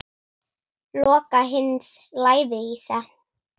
Loka hins lævísa.